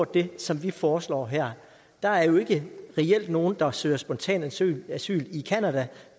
det som vi foreslår her der er jo ikke nogen der reelt søger spontant asyl asyl i canada